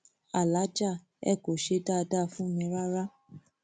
aláàjà ẹ kò ṣe dáadáa fún mi rárá